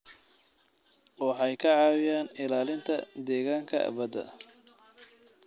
Waxay ka caawiyaan ilaalinta deegaanka badda.